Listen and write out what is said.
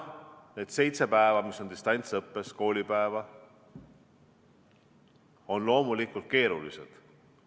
Need seitse koolipäeva, kui on distantsõpe, on loomulikult keerulised.